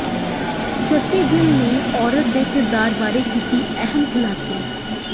ਜੱਸੀ ਗਿੱਲ ਨੇ ਔਰਤ ਦੇ ਕਿਰਦਾਰ ਬਾਰੇ ਕੀਤੇ ਅਹਿਮ ਖੁਲਾਸੇ